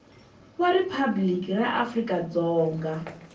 wa riphabliki ra afrika dzonga